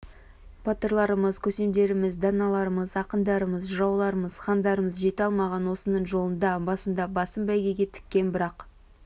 батырларымыз көсемдеріміз даналарымыз ақындарымыз жырауларымыз хандарымыз жете алмаған осының жолында басында басын бәйгеге тіккен бірақ